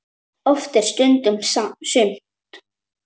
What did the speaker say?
Oft er stundum sumt.